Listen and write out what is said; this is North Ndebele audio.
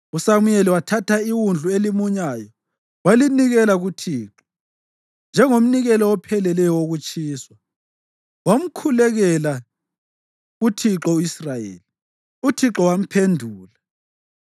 USamuyeli wathatha iwundlu elimunyayo walinikela kuThixo njengomnikelo opheleleyo wokutshiswa. Wamkhulekela kuThixo u-Israyeli, uThixo wamphendula.